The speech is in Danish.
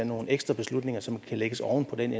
nogle ekstra beslutninger som kan lægges oven på den